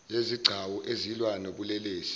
yezigcawu ezilwa nobulelesi